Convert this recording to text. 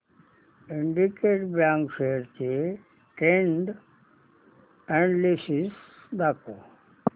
Syndicate bank shares चे trend analysis दाखव